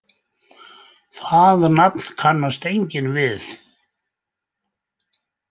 Það nafn kannast enginn við.